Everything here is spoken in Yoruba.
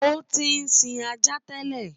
Ó tí sin ajá tẹ́lẹ̀.